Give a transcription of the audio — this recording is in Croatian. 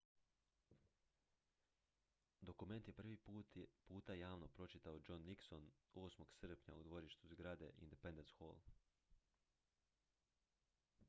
dokument je prvi puta javno pročitao john nixon 8. srpnja u dvorištu zgrade independence hall